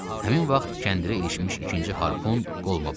Həmin vaxt kəndirə ilişmiş ikinci harpun qoluma batdı.